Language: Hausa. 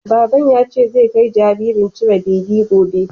Baban ya ce zai kai jinjirin cire beli gobe.